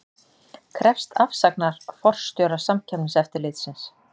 Krefst afsagnar forstjóra Samkeppniseftirlitsins